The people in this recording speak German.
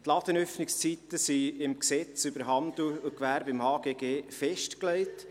– Die Ladenöffnungszeiten sind im HGG festgelegt.